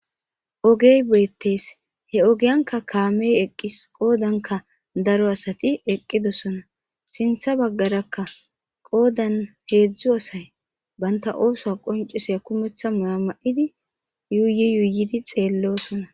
ogey boyettes he ogiyanka kaameyo eqqis qoodanka daro asati eqqidosona sintha baggarakka qoodan heedzdzu asay banta ooso qonciseya kumeththa maama7idi yuuyi yuyidi xeellosona